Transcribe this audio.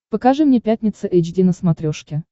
покажи мне пятница эйч ди на смотрешке